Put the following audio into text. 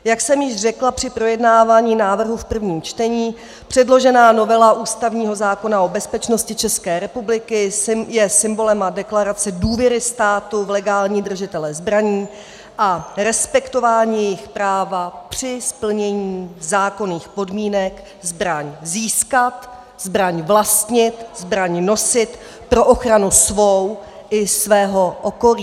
Jak jsem již řekla při projednávání návrhu v prvním čtení, předložená novela ústavního zákona o bezpečnosti České republiky je symbolem a deklarací důvěry státu v legální držitele zbraní a respektování jejich práva při splnění zákonných podmínek zbraň získat, zbraň vlastnit, zbraň nosit pro ochranu svou i svého okolí.